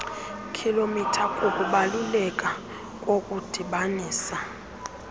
km kukubaluleka kokudibanisa